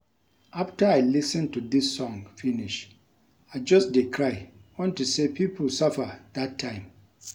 After I lis ten to dis song finish I just dey cry unto say people suffer dat time